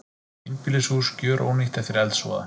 Einbýlishús gjörónýtt eftir eldsvoða